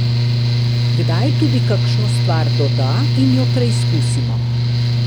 Kdaj tudi kakšno stvar doda in jo preizkusimo.